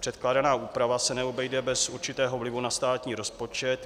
Předkládaná úprava se neobejde bez určitého vlivu na státní rozpočet.